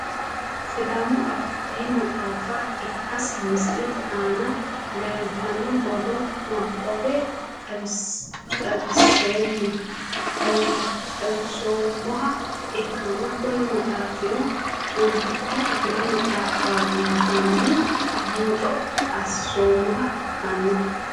Sidaamu afii maxaafa ikasi misilete aana leeltano borro nabawe xawisoomoha ikanna kuni maxaafino ontiki kifile maxaafati yaateni buuxo asoomoha ikano.